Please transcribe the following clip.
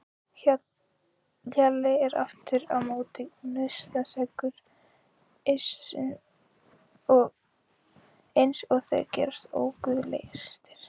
Hjalli er aftur á móti nautnaseggur eins og þeir gerast óguðlegastir.